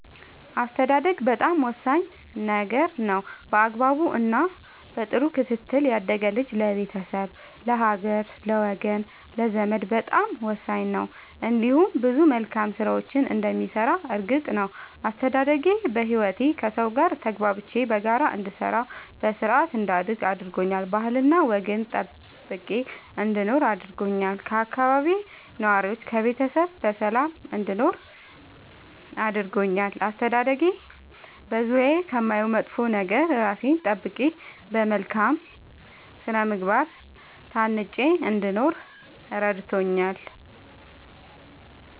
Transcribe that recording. አስተዳደግ በጣም ወሳኝ ነገር ነው በአግባቡ እና በጥሩ ክትትል ያደገ ልጅ ለቤተሰብ ለሀገር ለወገን ለዘመድ በጣም ወሳኝ ነው እንዲሁም ብዙ መልካም ስራዎችን እንደሚሰራ እርግጥ ነው። አስተዳደጌ በህይወቴ ከሠው ጋር ተግባብቼ በጋራ እንድሰራ በስርአት እንዳድግ አድርጎኛል ባህልና ወግን ጠብቄ እንድኖር አድርጎኛል ከአካባቢዬ ነዋሪዎች ከቤተሰብ በሰላም እንድኖር አድርጎኛል። አስተዳደጌ በዙሪያዬ ከማየው መጥፎ ነገር እራሴን ጠብቄ በመልካም ስነ ምግባር ታንጬ እንድኖር እረድቶኛል።